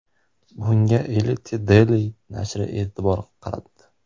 Bunga Elite Daily nashri e’tibor qaratdi .